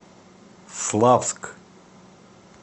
славск